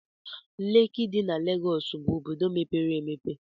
Leki dị na Legọs bụ obodo mepere emepe.